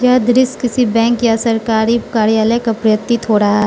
यह दृश्य किसी बैंक या सरकारी कार्यालय का प्रतीत हो रहा--